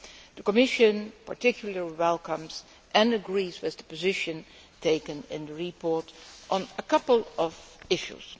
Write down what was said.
The Commission particularly welcomes and agrees with the position taken in the report on a couple of issues.